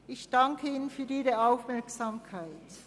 Ich fasse mich kurz: